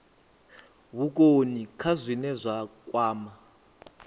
vhukoni kha zwine zwa kwama